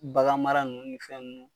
Bagan mara ninnu ni fɛn ninnu